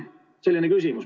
Selline küsimus.